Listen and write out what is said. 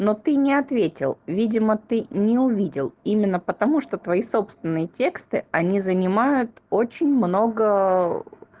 но ты не ответил видимо ты не увидел именно потому что твои собственные тексты они занимают очень много